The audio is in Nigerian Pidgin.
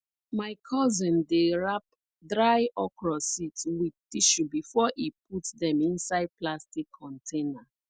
my cousin dey wrap dry okra seeds with tissue before e put dem inside plastic container